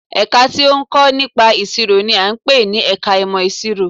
Ẹ̀ka tí ó ń kọ́ nípa ìṣirò n i à ń pè ní ẹka ìmọ̀ ìṣirò